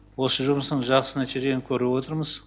осы жұмыстың жақсы нәтижелерін көріп отырмыз